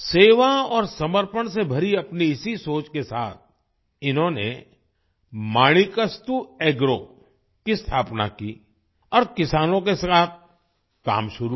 सेवा और समर्पण से भरी अपनी इसी सोच के साथ इन्होंने माणिकास्तु एग्रो की स्थापना की और किसानों के साथ काम शुरू किया